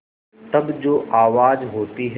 तब जो आवाज़ होती है